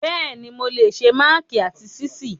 Bẹ́ẹ̀ni, mo lè se máàkì àti ṣíìsì.